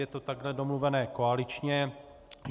Je to takhle domluveno koaličně.